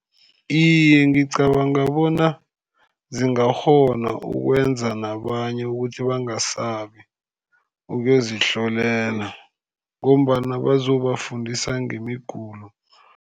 Iye, ngicabanga bona zingakghona ukwenza nabanye ukuthi bangasabi ukuyozihlolela, ngombana bazobafundisa ngemigulo.